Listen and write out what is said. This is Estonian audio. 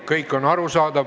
Kõik on arusaadav.